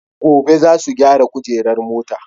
Gobe zasu gyara kujerar mota